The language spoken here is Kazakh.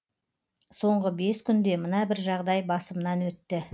соңғы бес күнде мына бір жағдай басымнан өтті